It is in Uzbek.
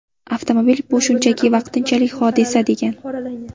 Avtomobil bu shunchaki vaqtinchalik hodisa”, degan.